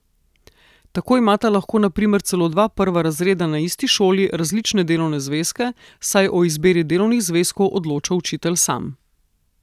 Tako imata lahko na primer celo dva prva razreda na isti šoli različne delovne zvezke, saj o izbiri delovnih zvezkov odloča učitelj sam.